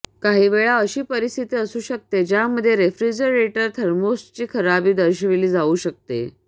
काहीवेळा अशी परिस्थिती असू शकते ज्यामध्ये रेफ्रिजरेटर थर्मोस्टॅटची खराबी दर्शविली जाऊ शकते